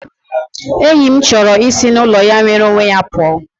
Enyi m chọrọ isi n'ụlọ ya nwere onwe ya pụọ